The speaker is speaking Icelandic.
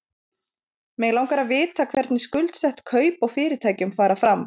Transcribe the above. Mig langar til að vita hvernig skuldsett kaup á fyrirtækjum fara fram?